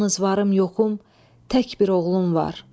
Yalnız varım yoxum tək bir oğlum var.